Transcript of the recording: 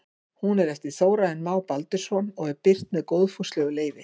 Hún er eftir Þórarinn Má Baldursson og er birt með góðfúslegu leyfi.